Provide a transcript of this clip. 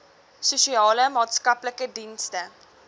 sosiale maatskaplike dienste